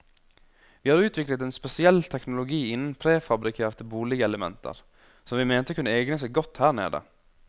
Vi har utviklet en spesiell teknologi innen prefabrikerte boligelementer, som vi mente kunne egne seg godt her nede.